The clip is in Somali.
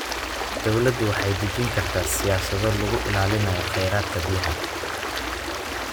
Dawladdu waxay dejin kartaa siyaasado lagu ilaalinayo kheyraadka biyaha.